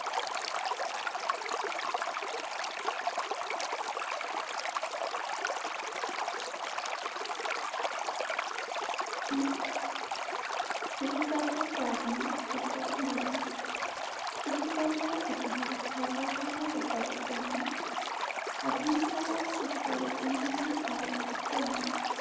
উম কৃষি কাৰ্য কৰাজনক কৃষক বোলে। কৃষি কাৰ্যৰ ইতিহাস হাজাৰ হাজাৰ বছৰৰ পুৰনি। আধুনিক কালত কৃষিৰ উন্নয়ন আৰু উত্তৰণ